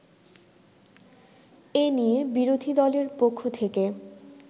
এ নিয়ে বিরোধীদলের পক্ষ থেকে